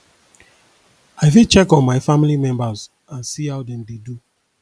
i fit check on my family members and see how dem dey do